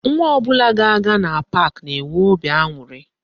Nwa ọbụla ga-aga na pak na-enwe óbị aṅụrị